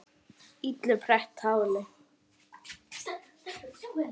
illu pretta táli